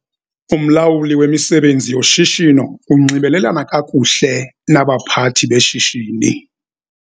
Umlawuli wemisebenzi yoshishino unxibelelana kakuhle nabaphathi beshishini.